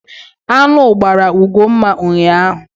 Aṅụ gbara Ugomma ụnyaahụ.